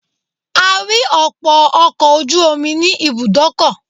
A rí ọ̀pọ̀ ọkọ̀ ojú omi ní ibùdókọ̀.